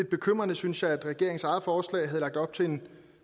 bekymrende synes jeg at regeringens eget forslag havde lagt op til en